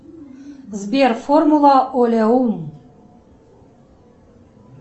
сбер формула олеум